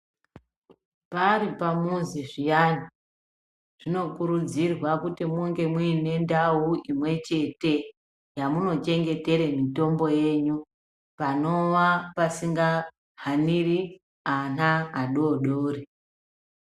Paripamuzi zviyani, zvinokurudzirwa kuti munge muyine ndau imwechete, yamunochengetere mitombo yenyu, panowa pasingahaniri ana adoodori.